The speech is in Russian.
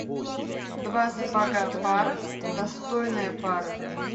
два сапога пара достойная пара